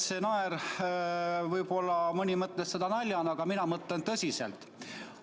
Võib-olla mõni võttis seda naljana, aga mina mõtlen tõsiselt.